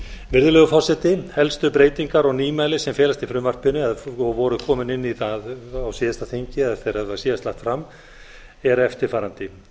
virðulegur forseti helstu breytingar og nýmæli sem felast í frumvarpinu voru komin inn í það á síðasta þingi eða þegar það síðast var lagt fram eru eftirfarandi í